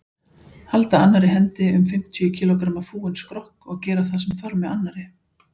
Halda annarri hendi um fimmtíu kílógramma fúinn skrokk og gera það sem þarf með annarri.